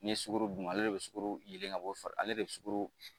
N'i ye sukoro dun ale de bɛ sukoro yelen ka bɔ fa ale de bɛ sukoro